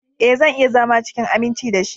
Ee, zan iya zama cikin aminci da shi.